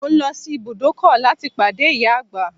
Mo ń lọ sí ibùdókọ̀ láti pàdé ìyá àgbà